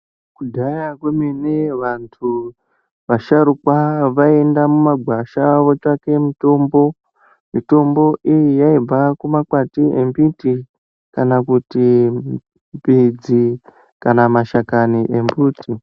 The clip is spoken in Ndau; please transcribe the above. Kudhaya kwememe vantu vasharuka vaienda mumagwasha votsvake mitombo ,mitombo iyi yaibve kumakwati embiti kana kuti midzi kana mashakani embiti.